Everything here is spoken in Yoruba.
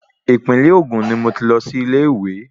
Ìpínlẹ̀ Ògùn ni mo ti lọ sí ilé ìwé.